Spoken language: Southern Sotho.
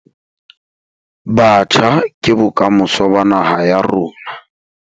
Batjha ke bokamoso ba naha ya rona.